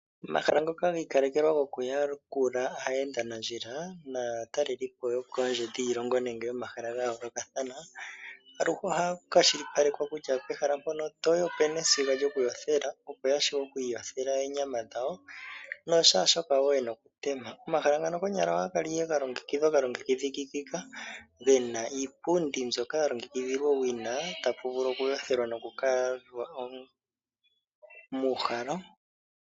Omahala ngoka giikalekelwa gokuyakula aayendanandjila naatalelipo yokoondje dhiilongo nenge yomahala ga yoolokathana, aluhe ohaya kwashilipalekwa kutya pehala mpono toyi opu na esiga lyokuyothela opo ya vule oku iyothela oonyama dhawo noshaashoka wo ya hala okutema. Omahala ngano konyala ohaga kala ga longekidhwa ga longekidhikika ge na iipundi mbyoka ya longekidhilwa owina ta pu vulu okuyothelwa noku uhalwa.